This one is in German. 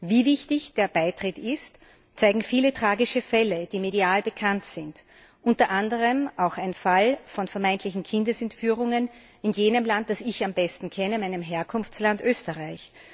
Wie wichtig der Beitritt ist, zeigen viele tragische Fälle, die medial bekannt sind, unter anderem auch ein Fall von vermeintlicher Kindesentführung in jenem Land, das ich am besten kenne, meinem Herkunftsland Österreich.